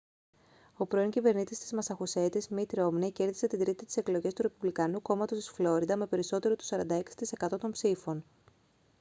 ο πρώην κυβερνήτης της μασαχουσέτης μιτ ρόμνεϊ κέρδισε την τρίτη τις εκλογές του ρεπουμπλικανικού κόμματος της φλόριντα με περισσότερο του 46% των ψήφων